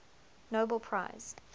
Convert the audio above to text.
nobel prize